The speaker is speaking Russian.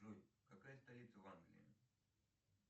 джой какая столица в англии